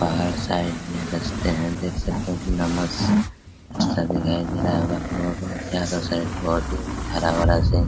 पहाड़ साइड मे रस्ते है देख सकते है की कितना मस्त रास्ता दिखाई दे रहा होगा आप लोगो को चारो साइड बहुत ही हरा भरा से --